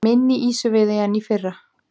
Minni ýsuveiði en í fyrra